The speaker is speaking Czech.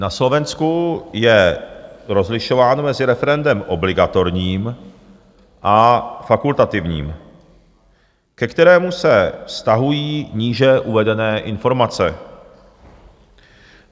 Na Slovensku je rozlišováno mezi referendem obligatorním a fakultativním, ke kterému se vztahují níže uvedené informace.